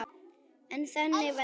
En þannig varð það.